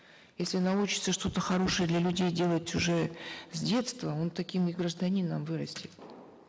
если научится что то хорошее для людей делать уже с детства он таким и гражданином вырастет